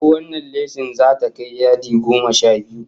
Ko wannan leshin zata kai yadi goma sha biyu?